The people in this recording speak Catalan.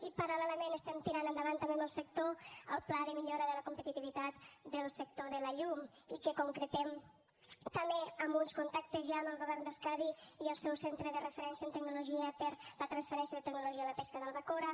i paral·lelament estem tirant endavant també amb el sector el pla de millora de la competitivitat del sector de la llum i que concretem també amb uns contactes ja amb el govern d’euskadi i el seu centre de referència en tecnologia per a la transferència de tecnologia en la pesca de la bacora